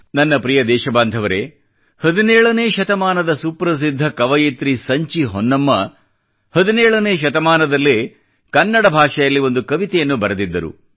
ನನ್ನ ಪ್ರಿಯ ದೇಶ ಬಾಂಧವರೇ 17ನೇ ಶತಮಾನದ ಸುಪ್ರಸಿದ್ಧ ಕವಯಿತ್ರಿ ಸಂಚಿ ಹೊನ್ನಮ್ಮ 17ನೇ ಶತಮಾನದಲ್ಲೇ ಕನ್ನಡ ಭಾಷೆಯಲ್ಲಿ ಒಂದು ಕವಿತೆಯನ್ನು ಬರೆದಿದ್ದರು